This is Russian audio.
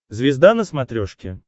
звезда на смотрешке